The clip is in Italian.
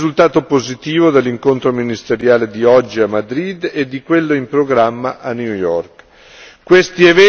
Confidiamo in un risultato positivo dell'incontro ministeriale di oggi a Madrid e di quello in programma a New York.